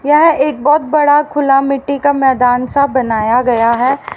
यह एक बहोत बड़ा खुला मिट्टी का मैदानसा बनाया गया हैं।